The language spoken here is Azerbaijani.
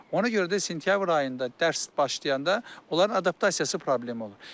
Ona görə də sentyabr ayında dərs başlayanda onların adaptasiyası problemi olur.